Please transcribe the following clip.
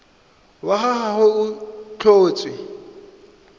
wa ga gagwe go tlhotswe